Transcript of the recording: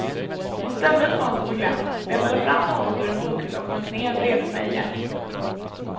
Hon ställde ett fönster på glänt, letade fram något ur en bokhylla och sjönk ner bredvid mig igen.